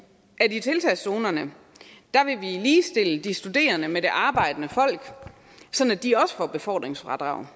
at vi i tiltagszonerne vil ligestille de studerende med det arbejdende folk sådan at de også får et befordringsfradrag